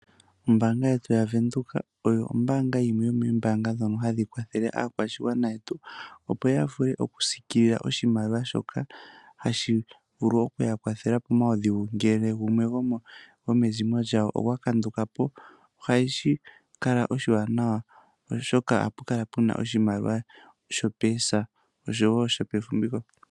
Ombaanga yetu yaVenduka oyo yimwe yomoombanga ndhono hadhi kwathele aakwashigwana opo yavule oku siikililwa oshimaliwa shoka hashi vulu okuya yakwathela pomaudhigu ngele gumwe gwomezimo lyawo okwa kandukapo ohashi kala oshiwanawa oshoka ohapu kala puna oshimaliwa sho poosa oshowo shopefumviko.